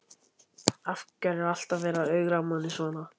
Af hverju er alltaf verið að ögra manni svona?